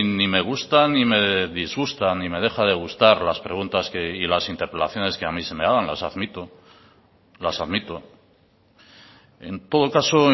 ni me gusta ni me disgusta ni me deja de gustar las preguntas y las interpelaciones que a mí se me hagan las admito las admito en todo caso